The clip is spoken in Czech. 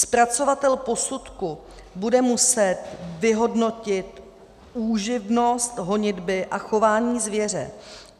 Zpracovatel posudku bude muset vyhodnotit úživnost honitby a chování zvěře.